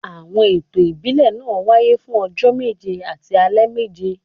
Àwọn ètò ìbílẹ̀ náà wáyé fún ọjọ́ méje àti alẹ́ méje